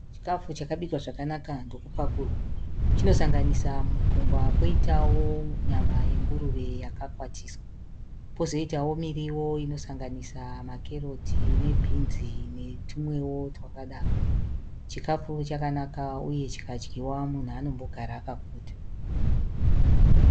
Chikafu chakabikwa zvakanaka ndokupakurwa. Chinosanganisa mupunga poitawo nyama yenguruve yakakwatiswa. Pozoitawo miriwo inosanganisa makeroti nebinzi netumwewo twakadaro. Chikafu chakanaka uye chikadyiwa munhu anombogara akaguta.